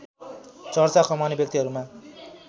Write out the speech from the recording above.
चर्चा कमाउने व्यक्तिहरूमा